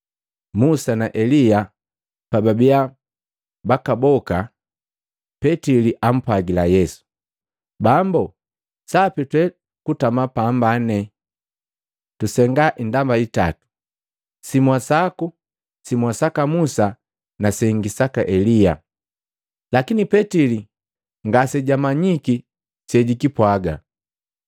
Musa na Elia pababia bakaboka, Petili ampwagila Yesu, “Bambu, sapi twe kutama pambane. Tusenga indamba hitatu, simwa sako, simwa saka Musa na sengi saka Elia.” Lakini Petili ngasejamanyiki sejikipwaga.